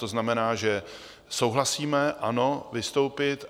To znamená, že souhlasíme - ano, vystoupit.